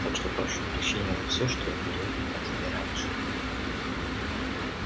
так что прошу прощения за всё что я говорил о тебе раньше